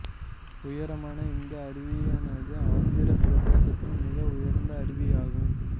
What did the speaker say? உயரமான இந்த அருவியானது ஆந்திர பிரதேசத்தில் மிக உயர்ந்த அருவியாகும்